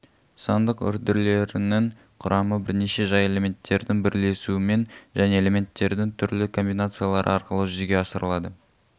сандық үрділерінің құрамы бірнеше жай элементтердің бірлесуімен және элементтердің түрлі комбинациялары арқылы жүзеге асырылады